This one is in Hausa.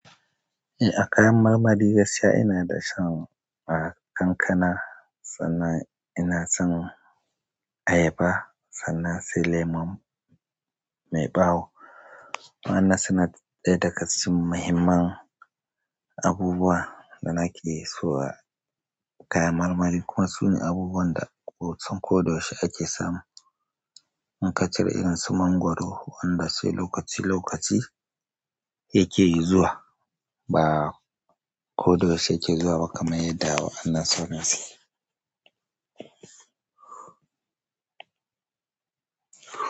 Eh, a kayan marmari gaskiya ina da shan a kankana, sannan ina son ayaba, sannan sai lemun mai ɓawo. Wannan suna ɗaya daga cikin muhimman abubuwa da nake sayowa, kayan marmari kuma sune abubuwan da kusan koda yaushe ake samu in ka cire irin su mangoro wanda sai lokaci lokaci take zuwa ba, koda yaushe yake zuwa ba kamar yadda wa'annan sauran suke.